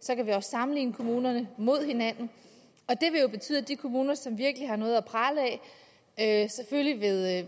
så kan vi også sammenligne kommunerne med hinanden og det vil jo betyde at de kommuner som virkelig har noget at prale af selvfølgelig